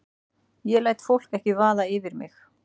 Ég læt fólk ekki vaða yfir mig.